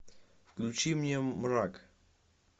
включи мне мрак